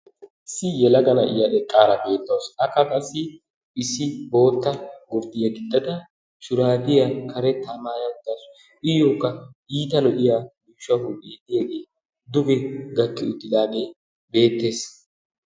Issi yelaga na'iya eqqara betawusu. Akka qassi issi bootta gurddiya gixada shurabiyaa karetta maayaa uttasu. Iyyoka iita lo'iyage so gurde diyage duge gakki uttidaagee beettees.